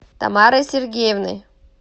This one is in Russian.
тамарой сергеевной